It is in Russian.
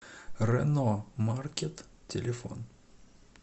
рено маркет телефон